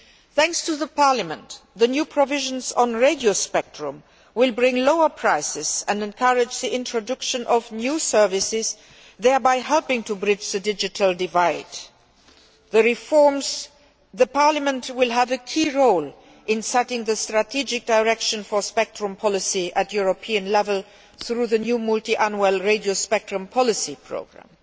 Thanks to Parliament, the new provisions on radio spectrum will bring lower prices and encourage the introduction of new services, thereby helping to bridge the digital divide. Parliament will have a key role in setting the strategic direction for spectrum policy at European level through the new multiannual radio spectrum policy programme.